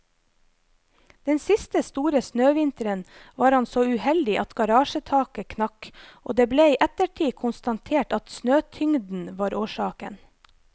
Den siste store snøvinteren var han så uheldig at garasjetaket knakk, og det ble i ettertid konstatert at snøtyngden var årsaken.